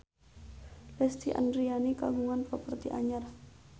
Lesti Andryani kagungan properti anyar